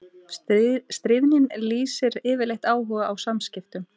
Stríðnin lýsir yfirleitt áhuga á samskiptum.